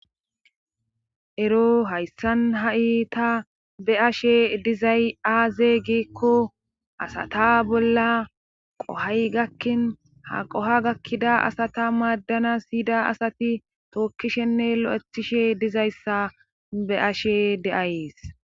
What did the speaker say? ero hayssan ha'i iita be ashe dizay aaze giekko asata bolla qohay gakkin ha qoha gakkida asata maaddana siyida asati tookkishenne lo7ethishe dizayssa be ashe de7ayees